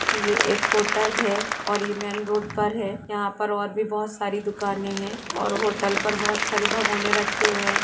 ये एक होटल हैं और ये मेन रोड पर हैं यहाँ पर और भी सारि दुकाने हैं और होटल पर बहुत सारे बगोने राखे हुये हैं।